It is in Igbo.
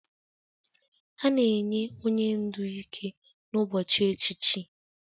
A na-enye onye ndu ike n'ụbọchị echichi